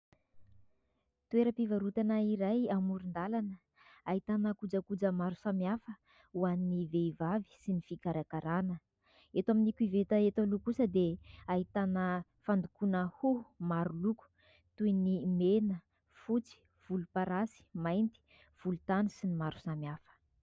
Toeram-pivarotana iray amoron-dalana ahitana kojakoja maro samihafa ho an'ny vehivavy sy ny fikarakarana eto amin'ny koveta eto aloha kosa dia ahitana fandokoana hoho maro loko toy ny : mena, fotsy, volomparasy, mainty, volontany sy ny maro samihafa